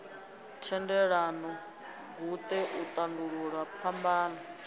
thendelano guṱe u tandulula phambano